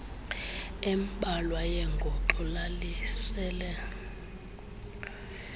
embalwa yengoxo lalisele